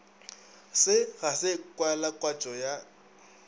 se ga se kwalakwatšo ya